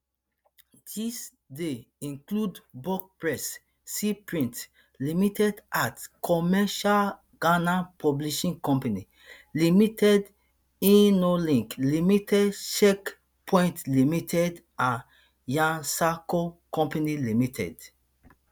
dis dey include buck press sea print limited acts commercials ghana publishing company limited innolink limited check point limited and yasarko company limited